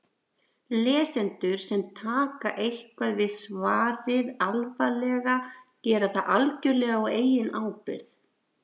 Lesendur sem taka eitthvað við svarið alvarlega gera það algjörlega á eigin ábyrgð.